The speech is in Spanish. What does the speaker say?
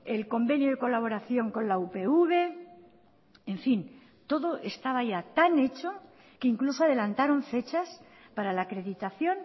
el convenio de colaboración con la upv en fin todo estaba ya tan hecho que incluso adelantaron fechas para la acreditación